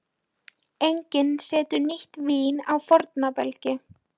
Ég hélt að þú hefðir náð þér í stelpu.